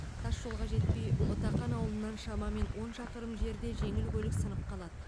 тас жолға жетпей ұтақан ауылынан шамамен он шақырым жерде жеңіл көлік сынып қалады